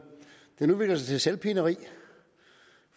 udvikler sig til selvpineri